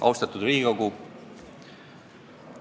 Austatud Riigikogu!